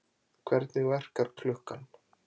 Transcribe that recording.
Hvernig verkar klukkan?